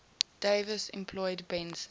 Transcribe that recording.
davis employed benson